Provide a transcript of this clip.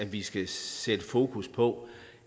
vi skal sætte fokus på